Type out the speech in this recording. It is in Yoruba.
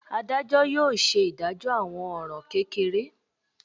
Adajọ yóò ṣe idajọ awọn ọran kekere.